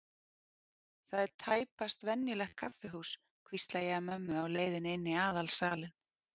Þetta er tæpast venjulegt kaffihús, hvísla ég að mömmu á leiðinni inn í aðalsalinn.